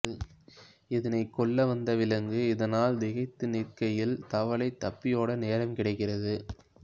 இதனைக் கொல்ல வந்த விலங்கு இதனால் திகைத்து நிற்கையில் தவளை தப்பியோட நேரம் கிடைக்கிறது